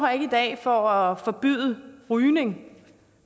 her i dag for at forbyde rygning